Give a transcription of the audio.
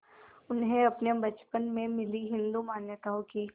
उन्हें अपने बचपन में मिली हिंदू मान्यताओं की